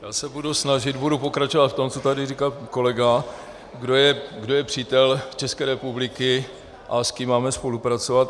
Já se budu snažit, budu pokračovat v tom, co tady říkal kolega, kdo je přítel České republiky a s kým máme spolupracovat.